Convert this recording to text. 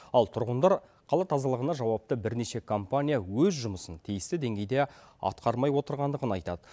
ал тұрғындар қала тазалығына жауапты бірнеше компания өз жұмысын тиісті деңгейде атқармай отырғандығын айтады